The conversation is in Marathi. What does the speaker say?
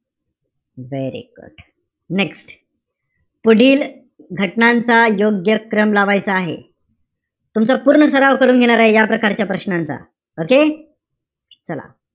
Very good next पुढील घटनांचा योग्य क्रम लावायचा आहे. तुमचा पूर्ण सर्व करून घेणार आहे मी या प्रकारच्या प्रश्नांचा. Okay. चला.